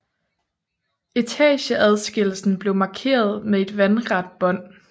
Etageadskillelsen blev markeret med et vandret bånd